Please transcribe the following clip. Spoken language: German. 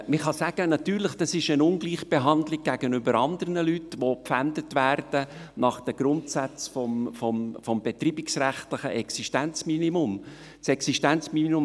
Natürlich kann man sagen, dass es sich dann um eine Ungleichbehandlung gegenüber anderen Leuten handelt, welche nach den Grundsätzen des betreibungsrechtlichen Existenzminimums gepfändet werden.